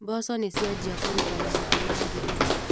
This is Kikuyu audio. Mboco nĩciambia kũruta mahuti ma ngirini.